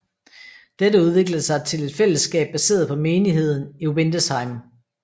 Dette udviklede sig til et fællesskab baseret på menigheden i Windesheim